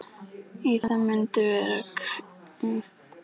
Í það mund var kirkja að Knerri.